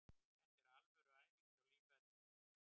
Þetta er alvöru æfing hjá lífverðinum.